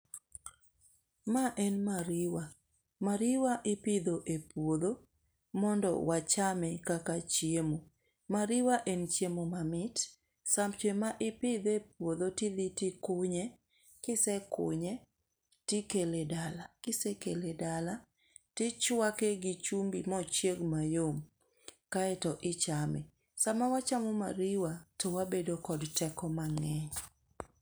Ma en mariewa . Mariewa ipidho epuodho mondo wachame kaka chiemo. Mariwa en chiemo mamit. Seche ma ipidhe e puodho tidhi tikunye, kisekunye tikele e dala. Kisekele e dala tichwake gi chumbi mochieg mayom kaeto ichame. Sama wachamo mariwa to wabedo kod teko mang'eny.